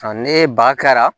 Ɔ ne ba kɛra